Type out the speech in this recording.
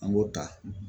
An b'o ta